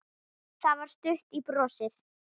Það var stutt í brosið.